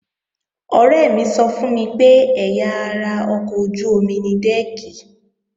Ọ̀rẹ́ mi sọ fún mi pé ẹ̀yà ara ọkọ̀ ojú-omi ni dẹ́ẹ̀kì